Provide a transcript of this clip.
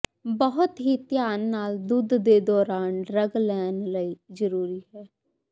ਬਹੁਤ ਹੀ ਧਿਆਨ ਨਾਲ ਦੁੱਧ ਦੇ ਦੌਰਾਨ ਡਰੱਗ ਲੈਣ ਲਈ ਜ਼ਰੂਰੀ ਹੈ